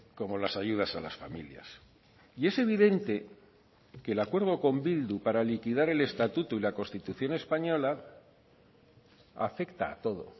como las ayudas a las familias y es evidente que el acuerdo con bildu para liquidar el estatuto y la constitución española afecta a todo